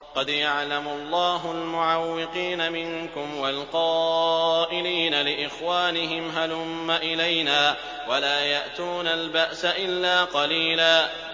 ۞ قَدْ يَعْلَمُ اللَّهُ الْمُعَوِّقِينَ مِنكُمْ وَالْقَائِلِينَ لِإِخْوَانِهِمْ هَلُمَّ إِلَيْنَا ۖ وَلَا يَأْتُونَ الْبَأْسَ إِلَّا قَلِيلًا